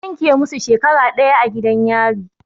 An yanke musu shekara ɗaya a gidan yari.